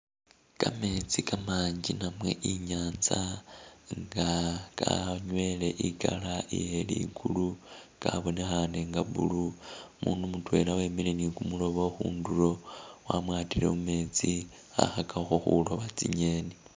Kameetsi kamanji nawe i'nyanza nga kanywele i'color e'yeligulu kabonekhane nga blue, umundu mutwela wemile ni kumuloobo khundulo wamwatile mumeetsi khakhakakho khulooba tsi'ngeni